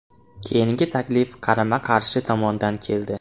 Keyingi taklif qarama-qarshi tomondan keldi.